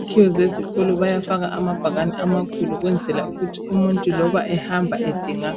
Izakhiwo zezikolo bayafaka amabhakani amakhulu ukwenzela ukuthi umuntu loba ehamba edinga